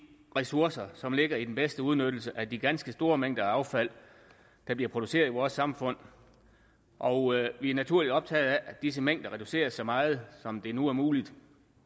ressourcer som ligger i den bedste udnyttelse af de ganske store mængder affald der bliver produceret i vores samfund og vi er naturligt optaget af at disse mængder reduceres så meget som det nu er muligt